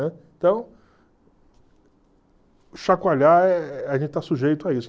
Então, chacoalhar, eh a gente está sujeito a isso.